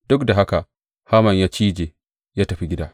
Duk da haka, Haman ya cije, ya tafi gida.